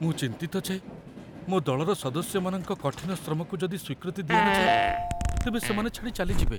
ମୁଁ ଚିନ୍ତିତ ଯେ ମୋ ଦଳର ସଦସ୍ୟମାନଙ୍କ କଠିନ ଶ୍ରମକୁ ଯଦି ସ୍ୱୀକୃତି ଦିଆ ନଯାଏ, ତେବେ ସେମାନେ ଛାଡ଼ି ଚାଲିଯିବେ।